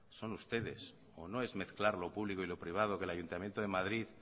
son ustedes o no es mezclar lo público y lo privado que el ayuntamiento de madrid